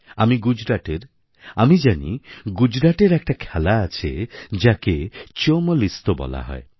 আমি গুজরাটের আমি জানি গুজরাটের একটা খেলা আছে যাকে চোমল্ ইস্তো বলা হয়